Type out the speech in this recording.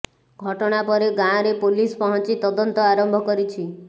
ଘଟଣା ପରେ ଗାଁରେ ପୋଲିସ ପହଞ୍ଚି ତଦନ୍ତ ଆରମ୍ଭ କରିଛି